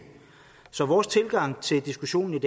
så vores tilgang til diskussionen i